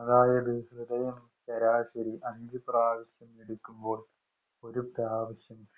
അതായത് ഹൃദയം ശരാശരി അഞ്ചു പ്രാവശ്യം മിടിക്കുമ്പോള്‍ ഒരു പ്രാവശ്യം